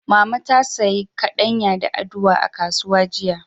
Mama ta sayi kaɗanya da aduwa a kasuwa jiya.